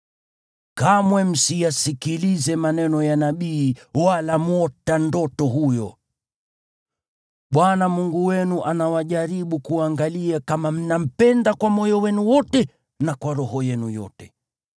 kamwe msiyasikilize maneno ya nabii wala mwota ndoto huyo. Bwana Mungu wenu anawajaribu kuangalia kama mnampenda kwa moyo wenu wote na kwa roho yenu yote.